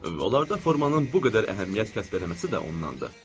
Onlarda formanın bu qədər əhəmiyyət kəsb eləməsi də ondandır.